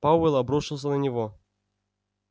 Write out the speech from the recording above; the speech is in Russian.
пауэлл обрушился на него